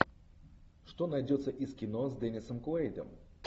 что найдется из кино с деннисом куэйдом